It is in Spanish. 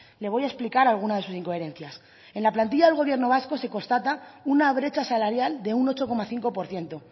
le voy a explicar alguna de sus incoherencias en la plantilla del gobierno vasco se constata una brecha salarial de un ocho coma cinco por ciento